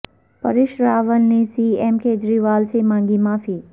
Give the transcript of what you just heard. پریش راول نے C M Kejriwal سے مانگی معافی